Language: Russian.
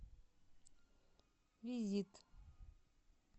визит